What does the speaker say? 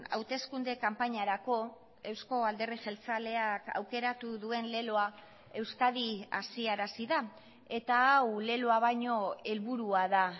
hauteskunde kanpainarako euzko alderdi jeltzaleak aukeratu duen leloa euskadi hazi arazi da eta hau leloa baino helburua da